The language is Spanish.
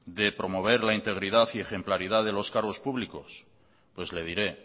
de promover la integridad y ejemplaridad de los cargos públicos pues le diré